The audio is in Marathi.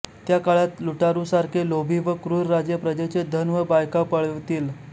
त्या काळात लुटारूसारखे लोभी व क्रूर राजे प्रजेचे धन व बायका पळवतील